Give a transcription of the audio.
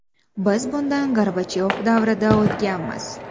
Biz bundan Gorbachyov davrida o‘tganmiz.